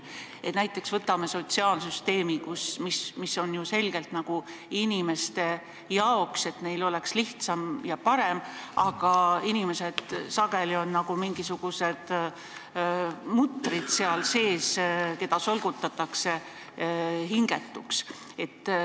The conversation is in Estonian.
Võtame näiteks sotsiaalsüsteemi, mis on mõeldud ju selgelt inimeste jaoks, et neil oleks lihtsam ja parem elada, aga inimesed on sageli nagu mingisugused mutrid seal sees, keda solgutatakse hingetuks.